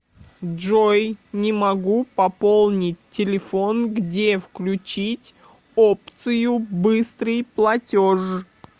джой не могу пополнить телефон где включить опцию быстрый платеж